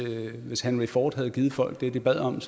hvis henry ford havde givet folk det de bad om